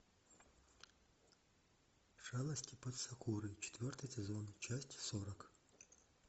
шалости под сакурой четвертый сезон часть сорок